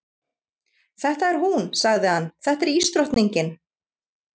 Þetta er hún, sagði hann, þetta er ísdrottningin.